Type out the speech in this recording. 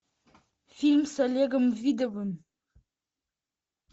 фильм с олегом видовым